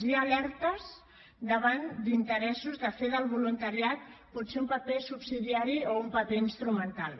hi ha alertes davant d’interessos de fer del voluntariat potser un paper subsidiari o un paper instrumental